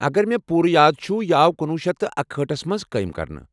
اگر مےٚ پوُرٕ یاد چھٗ، یہ آو کُنۄُہ شیتھ اکہأٹھ ٹھَس منٛز قٲیم کرنہٕ آمت